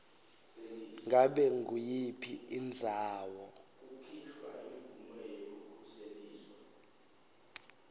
ngabe nguyiphi indzawo